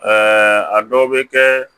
a dɔw bɛ kɛ